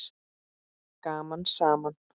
Gaman saman!